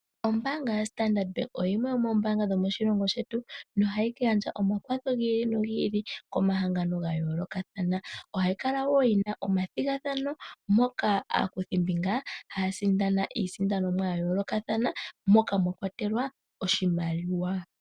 Ombaanga ya Standard bank oyo yimwe yomombaanga dhomoshilongo shetu nohayi gandja omakwatho giili nogiili komahangano ga yoolokathana, ohayi kala woo yina omathigathano moka aakuthimbinga haya sindana iisindanomwa ya yoolokathana moka mwa kwatelwa oshimaliwa.